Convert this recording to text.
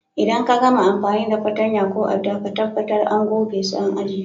Idan ka gama amfani da fatanya ko à'dan, ka tabatar àn goge su àn ajie.